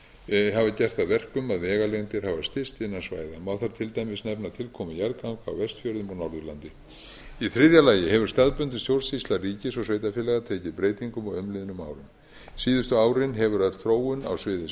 hafa gert það að verkum að vegalengdir hafa styst innan svæða má þar til dæmis nefna tilkomu jarðganga á vestfjörðum og norðurlandi í þriðja lagi hefur staðbundin stjórnsýsla ríkis og sveitarfélaga tekið breytingum á umliðnum árum síðustu árin hefur öll þróun á sviði